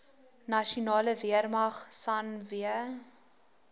nasionale weermag sanw